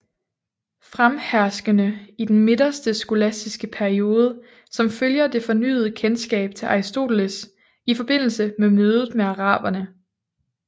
Fremherskende i den midterste skolastiske periode som følger det fornyede kendskab til Aristoteles i forbindelse med mødet med Araberne